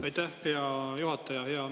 Aitäh, hea juhataja!